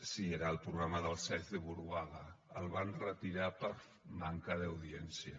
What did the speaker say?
sí era el programa del sáenz de buruaga el van retirar per manca d’audiència